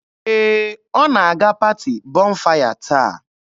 Ee, ọ na-aga paati Bọnfaya taa.